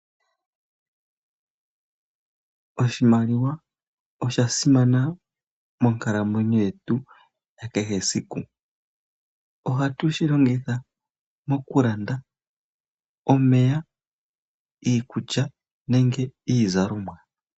Oshimaliwa osha simana monkalamwenyo yetu ya kehe esiku. Oha tu shilongitha mokulanda omeya, iikulya nenge iizalomwa .